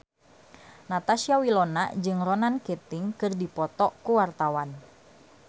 Natasha Wilona jeung Ronan Keating keur dipoto ku wartawan